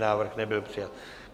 Návrh nebyl přijat.